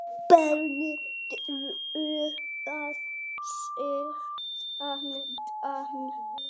Barnið dró að sér andann.